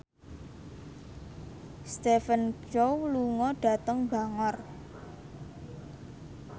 Stephen Chow lunga dhateng Bangor